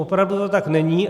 Opravdu to tak není.